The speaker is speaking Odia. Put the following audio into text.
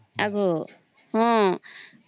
ଆଗୋ ହଁ